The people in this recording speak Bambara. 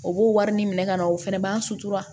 O b'o wari ɲini ka na o fɛnɛ b'an sutura